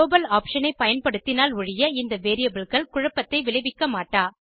global option ஐ பயன்படுத்தினால் ஒழிய இந்த variableகள் குழப்பத்தை விளைவிக்க மாட்டா